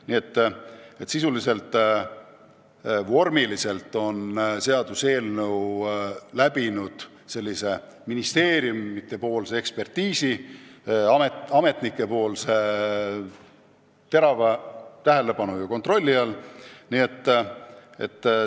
Nii sisuliselt kui ka vormiliselt on eelnõu läbinud ministeeriumide ametnike hoolika ekspertiisi.